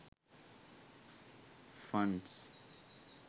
funs